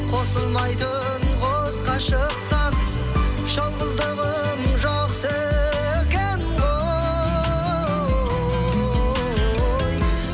қосылмайтын қос ғашықтан жалғыздығым жақсы екен ғой